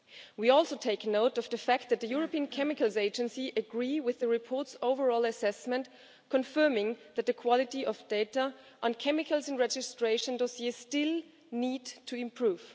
We also take note of the fact that the European Chemicals Agency agrees with the report's overall assessment, confirming that the quality of data on chemicals in registration dossiers still needs to improve.